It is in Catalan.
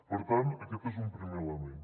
per tant aquest és un primer element